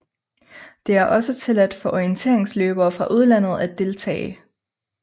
Det er også tilladt for orienteringsløbere fra udlandet at deltage